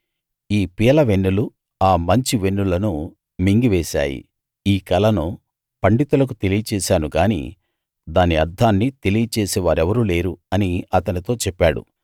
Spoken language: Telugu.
ఈ పీలవెన్నులు ఆ మంచి వెన్నులను మింగివేశాయి ఈ కలను పండితులకు తెలియచేశాను గాని దాని అర్థాన్ని తెలియచేసే వారెవరూ లేరు అని అతనితో చెప్పాడు